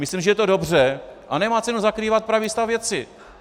Myslím, že je to dobře a nemá cenu zakrývat pravý stav věci.